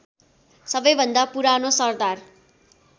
सबैभन्दा पुरानो सरदार